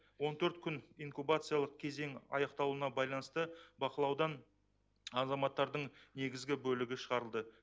он төрт күн инкубациялық кезеңі аяқталуына байланысты бақылаудан азаматтардың негізгі бөлігі шығарылды